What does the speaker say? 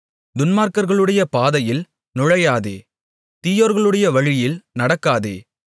துன்மார்க்கர்களுடைய பாதையில் நுழையாதே தீயோர்களுடைய வழியில் நடக்காதே